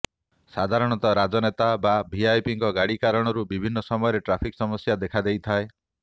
ସାଧାରଣତଃ ରାଜନେତା ବା ଭିଭିଆଇପିଙ୍କ ଗାଡି କାରଣରୁ ବିଭିନ୍ନ ସମୟରେ ଟ୍ରାଫିକ୍ ସମସ୍ୟା ଦେଖାଦେଇଥାଏ